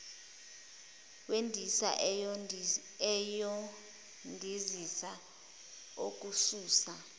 wendiza uyondizisa okususa